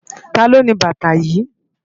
Táló ni bàtá yi?